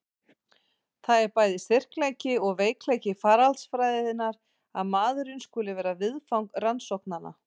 Það er bæði styrkleiki og veikleiki faraldsfræðinnar að maðurinn skuli vera viðfang rannsóknanna.